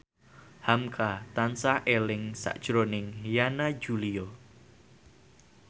hamka tansah eling sakjroning Yana Julio